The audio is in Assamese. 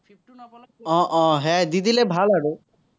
আহ আহ সেয়াই দি দিলে ভাল আৰু।